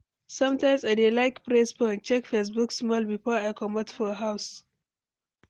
Sometimes, I dey like press phone, check Facebook small before I comot for house.